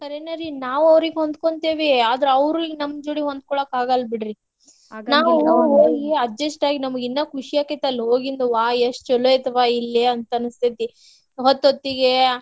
ಖರೇನ ರಿ ನಾವ್ ಅವ್ರಿಗ್ ಹೊಂದ್ಕೊಂತೇವಿ ಆದ್ರ ಅವ್ರಿಗ್ ನಮ್ಮ್ ಜೋಡಿ ಹೊಂದಕೋಳಾಕ್ ಆಗಲ್ಲ್ ಬಿಡ್ರಿ. adjust ಆಗಿ ನಮಗಿನ್ನ ಖುಷಿ ಆಕ್ಕೇತಿ ಅಲ್ಲಿ ಹೋಗಿಂದವ ಎಷ್ಟ ಚಲೋ ಐತಿವಾ ಇಲ್ಲೆ ಅಂತ ಅನಸ್ತೆತಿ. ಹೊತ್ತ್ ಹೊತ್ತಿಗೆ